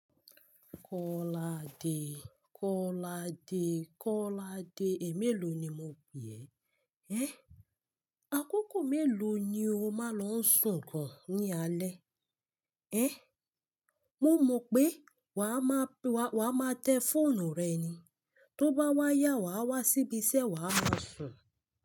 Kọ́ládé, Kọ́ládé, Kọ́ládé, è méèló ni mo pè ẹ́. Ẹ́! Akókò mélòó ni o máa lọ sùn gan ní alẹ́? Ẹ́! Mo mọ pé wa ma, wa ma tẹ fóònù rẹ ni, tó bá wáyà, wa wá síbí iṣẹ́, wa máa sùn.